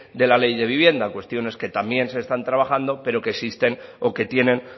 de la ley de vivienda cuestiones que también se están trabajando pero que existen o que tienen